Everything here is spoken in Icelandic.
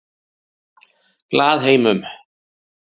Glaðheimum